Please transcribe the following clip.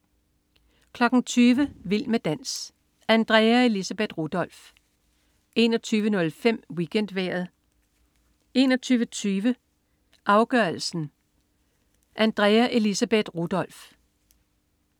20.00 Vild med dans. Andrea Elisabeth Rudolph 21.05 WeekendVejret 21.20 Vild med dans, afgørelsen. Andrea Elisabeth Rudolph